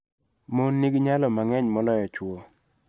Mon nigi nyalo mang�eny moloyo chwo